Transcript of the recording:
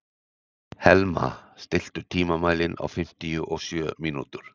Helma, stilltu tímamælinn á fimmtíu og sjö mínútur.